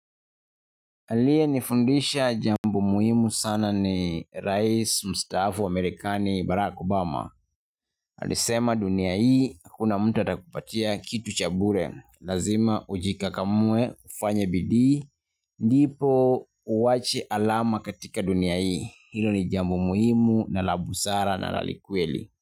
Aliyenifundisha jambo muhimu sana ni Rais Mstaafu Amerikani Barack Obama. Alisema dunia hii kuna hakuna mtu atakupatia kitu cha bure. Lazima ujikakamue ufanye bidii ndipo uwache alama katika dunia hii. Hilo ni jambo muhimu na la busara na la kweli.